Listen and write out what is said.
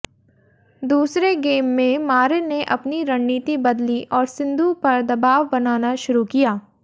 दूसरे गेम में मारिन ने अपनी रणनीति बदली और सिंधु पर दबाव बनाना शुरू किया